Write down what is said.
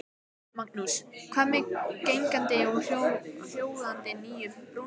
Magnús: Hvað með gangandi og hjólandi á nýju brúnni?